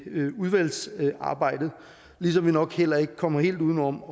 udvalgsarbejdet ligesom vi nok heller ikke kommer helt uden om